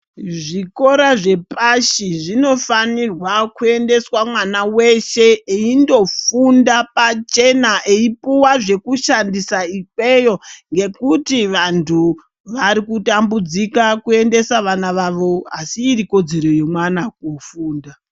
Zvikora zvepashi zvinofanirwa kuendeswa mwana weshe eindofunda pachena eipuwa zvekushandisa ikweyo ngekuti vanthu varikutambudzika kuendesa vana vavo asi iri kodzero yemwana kufunda .